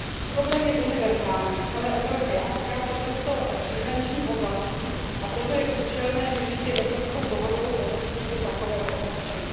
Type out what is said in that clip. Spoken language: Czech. Problém je univerzální v celé Evropě a týká se často příhraničních oblastí, a proto je účelné řešit jej evropskou dohodou o definici takového označení.